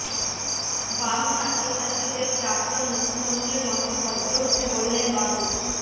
বাম ছাত্রছাত্রীদের প্রাক্তন মুখ্যমন্ত্রীর মতো ভদ্র হতে বললেন বাবুল